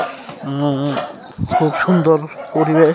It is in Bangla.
আ- আ- খুব সুন্দর পরিবেশ।